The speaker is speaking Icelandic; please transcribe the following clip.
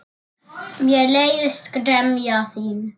Mér leiðist gremja þín.